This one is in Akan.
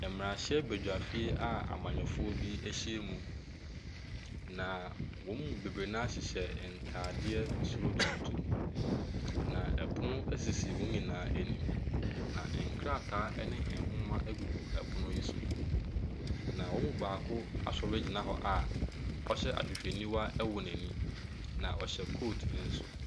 Mmrahyɛbadwafo amanyɔfoɔ bi ahyia mu, na wɔn mu bebree ntaadeɛ soro tuntum. Na pono sisi wɔn nyinaa anim. Na wɔn mu baako aɔre agyina hɔ a ɔhyɛ ahwehwɛniwa wɔ n'ana na ɔhyɛ coat.